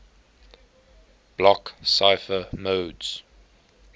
block cipher modes